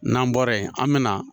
N'an bɔra yen, an be na